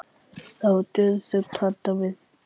Það var dauðaþögn handan við dyrnar.